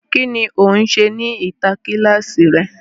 Ki ni o n ṣe ni ita kílàsì rẹ?